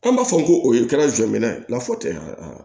An b'a fɔ ko o ye kɛra jɔ minɛ ye lafutaa